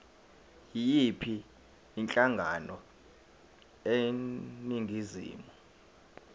yiyiphi inhlangano eningizimu